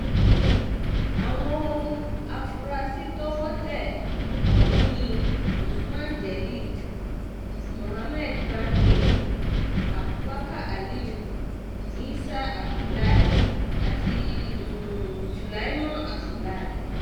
àwọn afuarasí to̩wó̩ tẹ ò̩hún ni usman jelil muhammed bande abubakar aliu isah abdullahi àti um sülaiman abdulahi